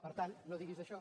per tant no diguis això